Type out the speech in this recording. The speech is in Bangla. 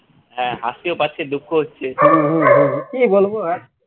হ্যাঁ হাসিও পাচ্ছে দুঃখ হচ্ছে